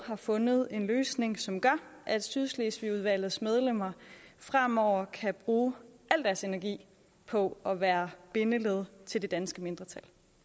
fundet en løsning som gør at sydslesvigudvalgets medlemmer fremover kan bruge al deres energi på at være bindeled til det danske mindretal